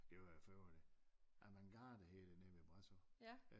Det var jo for øvrigt avantgarde hed det nede ved Brasov